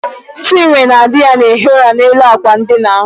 Chinwe na dị ya na-ehi ụra n'elu àkwà ndina.